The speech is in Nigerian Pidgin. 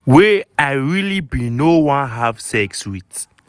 wey i really bin no wan have sex with".